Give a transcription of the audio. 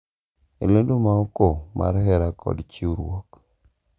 En lendo ma oko mar hera kod chiwruok .